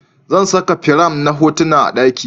Zan saka firam na hotuna a daki